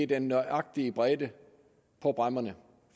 den nøjagtige bredde på bræmmerne